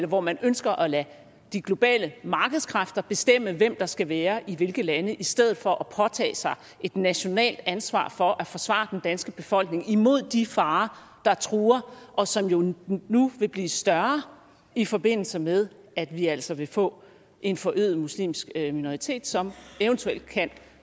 hvor man ønsker at lade de globale markedskræfter bestemme hvem der skal være i hvilke lande i stedet for at påtage sig et nationalt ansvar for at forsvare den danske befolkning imod de farer der truer og som nu nu vil blive større i forbindelse med at vi altså vil få en forøget muslimsk minoritet som eventuelt kan